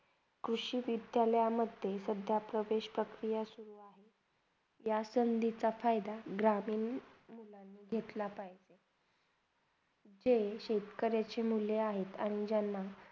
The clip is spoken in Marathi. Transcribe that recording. कृषी विद्यालयमधे सध्यातर प्रवेश प्रक्रिया चालू आहे या संधिचा फायदा ग्रहमीन मुलांनी घेतला पाहिजे ते शेतकरीचे मुले आहेत आणि ज्यांना